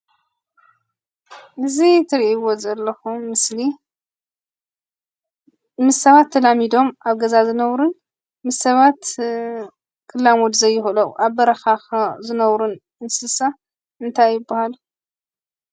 እዙይ እትርእይዎ ዘለኩም ምስሊ ምስ ሰባት ተላሚዶም ኣብ ገዛ ዝነብሩን ምስ ሰባት ክላመዱ ዘይክእሉ ኣብ በረካ ዝነብሩን እንስሳ እንታይ ይባሃሉ?